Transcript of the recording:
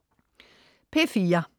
P4: